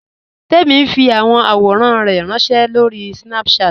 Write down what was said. Tẹ̀mi n fi awọn awòrán rẹ ránṣẹ̀ lórí Snapchat.